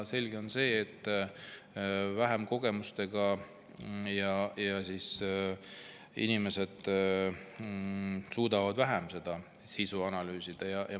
Selge on see, et vähemate kogemustega inimesed suudavad vähem sisu analüüsida.